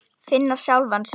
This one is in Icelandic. Finna sjálfa sig.